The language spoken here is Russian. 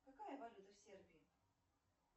какая валюта в сербии